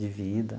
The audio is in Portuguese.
De vida.